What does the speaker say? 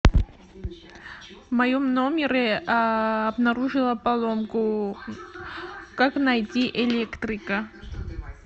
в моем номере обнаружила поломку как найти электрика